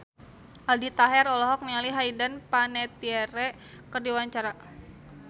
Aldi Taher olohok ningali Hayden Panettiere keur diwawancara